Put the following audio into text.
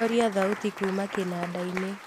horia thauti kuuma kĩnandainĩ